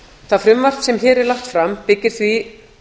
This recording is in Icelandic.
það frumvarp sem hér er lagt fram byggir því